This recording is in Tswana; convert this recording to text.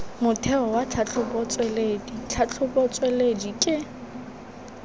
motheo wa tlhatlhobotsweledi tlhatlhobotsweledi ke